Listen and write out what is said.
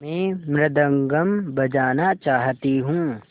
मैं मृदंगम बजाना चाहती हूँ